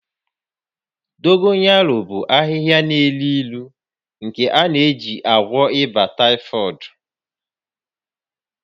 Dogoyaro bụ ahịhịa n'elu ilu nke a na-eji agwọ ịba taịfọdụ